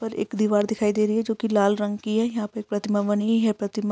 पर एक दीवार दिखाई दे रही है। जो कि लाल रंग की है। यहाँ पर प्रतिमा बनी है यह प्रतिमा --